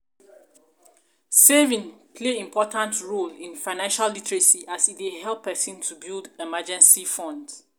saving play important important role in financial literacy as e dey help pesin to build emergency fund.